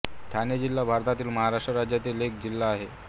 ठाणे जिल्हा भारतातील महाराष्ट्र राज्यातील एक जिल्हा आहे